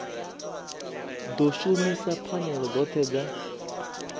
ḓo shumisa pfanelo dzoṱhe dza